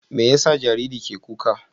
Me ya sa jariri ke kuka?